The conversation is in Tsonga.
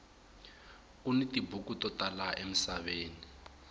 kuni tibuku to tala emisaveni